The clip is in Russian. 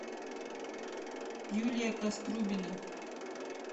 юлия каструбина